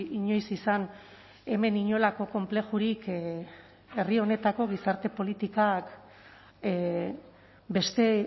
inoiz izan hemen inolako konplexurik herri honetako gizarte politikak beste